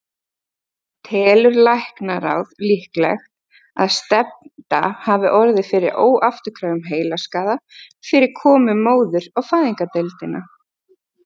Telur læknaráð líklegt, að stefnda hafi orðið fyrir óafturkræfum heilaskaða fyrir komu móður á fæðingardeild?